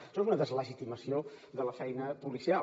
això és una deslegitimació de la feina policial